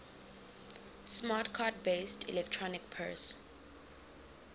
smart card based electronic purse